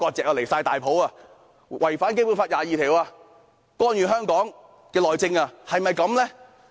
真是太離譜，他們違反《基本法》第二十二條，干預香港內政。